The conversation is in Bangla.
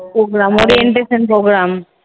Programme orientation programme